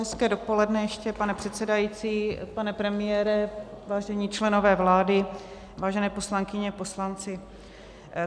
Hezké dopoledne ještě, pane předsedající, pane premiére, vážení členové vlády, vážené poslankyně, poslanci.